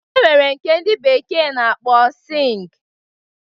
E nwere nke ndị bekee na-akpọ sịng